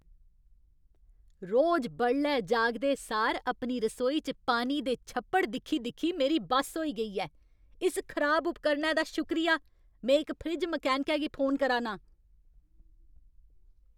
रोज बडलै जागदे सार अपनी रसोई च पानी दे छप्पड़ दिक्खी दिक्खी मेरी बस होई गेई ऐ। इस खराब उपकरणै दा शुक्रिया! में इक फ्रिज मैकेनिकै गी फोन करा ना आं।